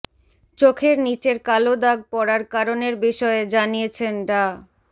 চোখের নিচের কালো দাগ পড়ার কারণের বিষয়ে জানিয়েছেন ডা